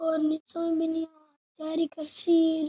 और निचे बाहरी करसि --